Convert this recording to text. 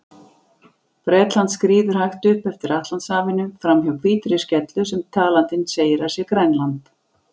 Bretland skríður hægt upp eftir Atlantshafinu, framhjá hvítri skellu sem talandinn segir að sé Grænland.